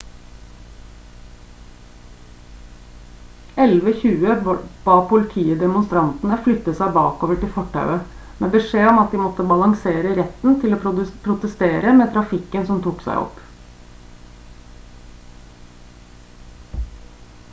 11.20 ba politiet demonstrantene flytte seg bakover til fortauet med beskjed om at de måtte balansere retten til å protestere med trafikken som tok seg opp